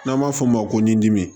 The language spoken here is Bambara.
N'an b'a f'o ma ko n dimi